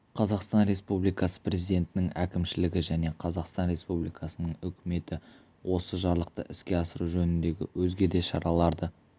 қазақстан республикасы президентінің әкімшілігі және қазақстан республикасының үкіметі осы жарлықты іске асыру жөніндегі өзге де шараларды